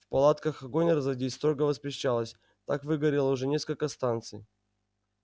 в палатках огонь разводить строго воспрещалось так выгорело уже несколько станций